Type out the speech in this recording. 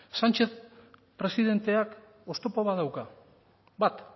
sánchez presidenteak oztopo bat dauka bat